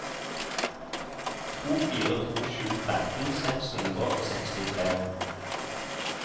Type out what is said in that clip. to fire to sju tretten seks hundre og sekstitre